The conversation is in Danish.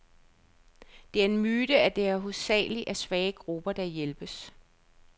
Det er en myte, at det hovedsageligt er svage grupper, der hjælpes.